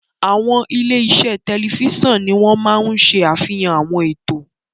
Àwọn ilé-iṣẹ́ tẹlifíṣàn ni wọ́n máa ń ṣe àfihàn àwọn ètò.